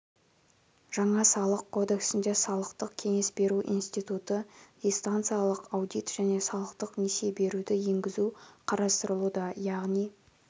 жаңа салық кодексінде салықтық кеңес беру институты дистанциялық аудит және салықтық несие беруді енгізу қарастырылуда яғни